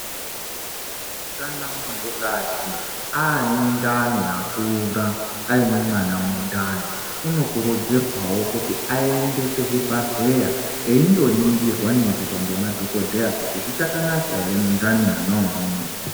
Kana muntu kadzi ane ndani yakura aine mwana mundani uno kurudzirwawo kuti ayende ku chibhadhleya iindo ningirwa ningirwa nge madhokoteya kuti zvikacha naka ere mu ndani imomo.